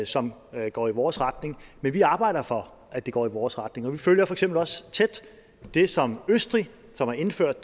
som går i vores retning men vi arbejder for at det går i vores retning og vi følger for eksempel også tæt det som sker østrig som har indført